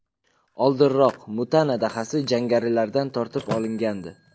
Oldinroq Mutana dahasi jangarilardan tortib olingandi.